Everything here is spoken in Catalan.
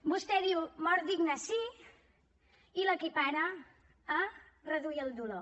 vostè diu mort digna sí i l’equipara a reduir el dolor